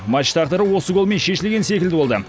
матч тағдыры осы голмен шешілген секілді болды